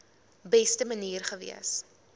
beste manier gewees